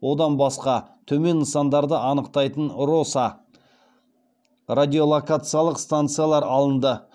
одан басқа төмен нысандарды анықтайтын роса радиолокациялық станциялар алынды